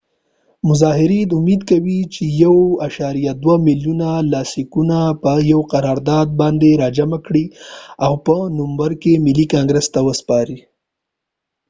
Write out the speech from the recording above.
مظاهرېن امید کوي چې د 1.2 ملیون لاسلیکونه په یو قرارداد باندي راجمع کړي اوپه نومبر کې ملي کانګریس ته وسپاری